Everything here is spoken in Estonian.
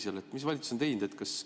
Millised otsused valitsus on teinud?